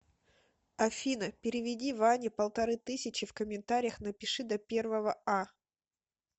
афина переведи ване полторы тысячи в комментариях напиши до первого а